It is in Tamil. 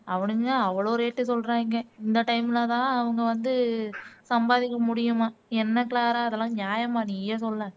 அவனுங்க அவ்ளோ rate சொல்றாங்க இந்த time அவங்க வந்து சம்பாதிக்க முடியுமாம். என்ன க்ளாரா இதெல்லாம் ஞாயமா நீயே சொல்லேன்